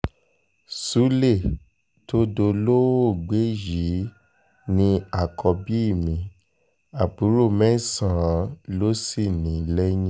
sulé tó dolóògbé yìí ni àkọ́bí mi àbúrò mẹ́sàn-án ló sì ní lẹ́yìn